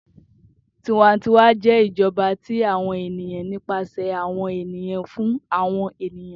Tiwantiwa jẹ ijọba ti awọn eniyan, nipasẹ awọn eniyan, fun awọn eniyan.